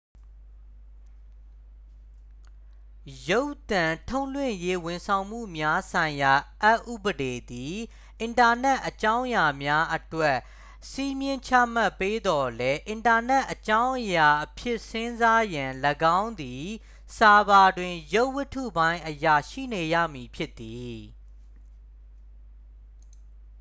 ရုပ်သံထုတ်လွှင့်ရေးဝန်ဆောင်မှုများဆိုင်ရာအက်ဥပဒေသည် အင်တာနက်အကြောင်းအရာများအတွက် စည်းမျဉ်းချမှတ်ပေးသော်လည်း အင်တာနက်အကြောင်းအရာအဖြစ်စဉ်းစားရန် ၎င်းသည် ဆာဗာတွင် ရုပ်ဝတ္ထုပိုင်းအရ ရှိနေရမည် ဖြစ်သည်